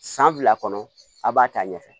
San fila kɔnɔ a b'a ta ɲɛfɛ